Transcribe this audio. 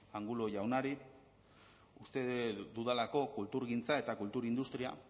angulo jaunari uste dudalako kulturgintza eta kultur industria